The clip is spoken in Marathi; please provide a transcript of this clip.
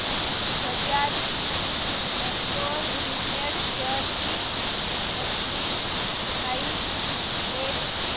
बजाज ऑटो लिमिटेड शेअर्स ची मंथली प्राइस रेंज